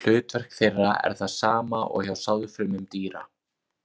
Hlutverk þeirra er það sama og hjá sáðfrumum dýra.